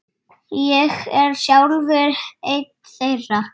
Ég er sjálfur einn þeirra.